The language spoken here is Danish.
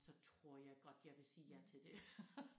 Så tror jeg godt jeg vil sige ja til det